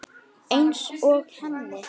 Einsog henni.